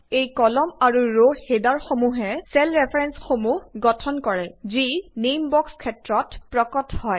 এই কলাম আৰু ৰ হেডাৰসমূহে গঠন কৰে চেল ৰেফাৰেঞ্চসমূহ যি নেইম বক্স ক্ষেত্ৰত প্ৰকট হয়